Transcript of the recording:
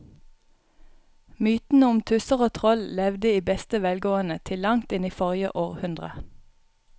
Mytene om tusser og troll levde i beste velgående til langt inn i forrige århundre.